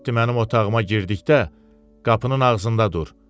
Kaliotti mənim otağıma girdikdə qapının ağzında dur.